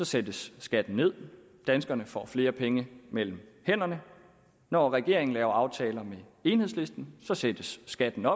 sættes skatten ned danskerne får flere penge mellem hænderne når regeringen laver aftaler med enhedslisten sættes skatten